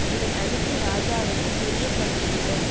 இதை அனுப்பி ராஜாவுக்குத் தெரியப்படுத்துகிறோம்